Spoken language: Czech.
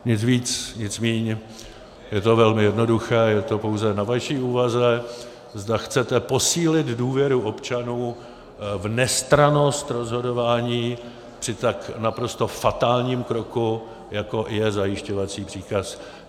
Nic víc, nic míň, je to velmi jednoduché, je to pouze na vaší úvaze, zda chcete posílit důvěru občanů v nestrannost rozhodování při tak naprosto fatálním kroku, jako je zajišťovací příkaz.